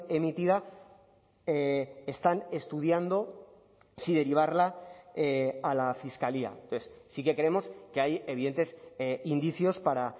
emitida están estudiando si derivarla a la fiscalía entonces sí que creemos que hay evidentes indicios para